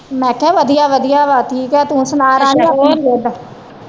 ਮੈ ਕਿਹਾ ਵਧੀਆ ਵਧੀਆ ਵਾ ਠੀਕ ਆ ਤੂੰ ਸੁਣਾ ਰਾਣੀ ਆਪਣੀ ਸਿਹਤ